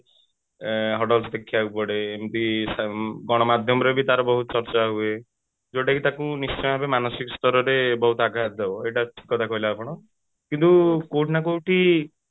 ଆଁ huddles ଦେଖିବାକୁ ପଡେ ଏମିତି ଗଣମାଧ୍ୟମରେ ବି ତାର ବହୁତ ଚର୍ଚ୍ଚା ହୁଏ ଯୋଉଟା କି ତାକୁ ନିଶ୍ଚିତ ଭାବରେ ତାକୁ ମାନସିକ ସ୍ତରରେ ବହୁତ ଆଘାତ ଦବ କିନ୍ତୁ କୋଉଠି ନା କୋଉଠି